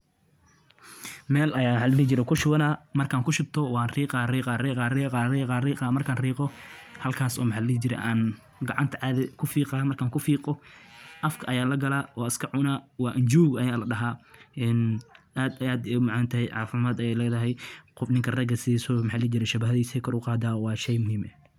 Habka qodista iyo goosashada digirta waa geedi socod muhiim ah oo u baahan taxaddar iyo dulqaad si loo helo dalag tayo leh. Marka digirta la beero, waxaa lagu waraabiyaa biyo ku filan inta lagu guda jiro koritaanka, iyadoo la ilaalinayo in carradu ay ahaato mid qoyan oo aan biyo badneyn. Marka digirta ay bislaato, caleemaha waxay bilaabaan inay huruudaan, taasoo tilmaamaysa in digirtu diyaar u tahay in la qodo. Qodista digirta waxaa lagu sameeyaa gacanta ama mashiin si looga fogaado waxyeellada miraha.